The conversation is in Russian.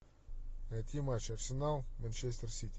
найти матч арсенал манчестер сити